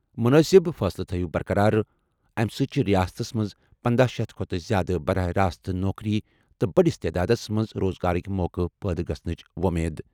مُنٲسِب فٲصلہٕ تھٲیِو برقرار۔ اَمہِ سۭتۍ چھِ رِیاستَس منٛز پنَدَہ شیتھ کھۄتہٕ زِیٛادٕ براہِ راست نوکرِی تہٕ بٔڈِس تعدادَس منٛز روزگارٕک موقعہٕ پٲدٕ گژھنٕچ وۄمید ۔